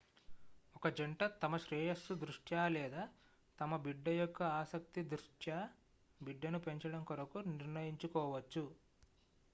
ఒక జంట తమ శ్రేయస్సు దృష్ట్యా లేదా తమ బిడ్డ యొక్క ఆసక్తి దృష్ట్యా బిడ్డను పెంచడం కొరకు నిర్ణయించుకోవచ్చు